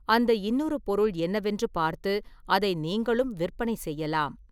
அந்த இன்னொரு பொருள் என்னவென்று பார்த்து அதை நீங்களும் விற்பனை செய்யலாம்.